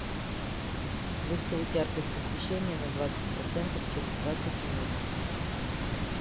выставить яркость освещения на двадцать процентов через двадцать минут